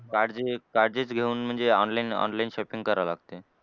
Charges charges घेऊन म्हणजे online online shopping करावं लागतंय.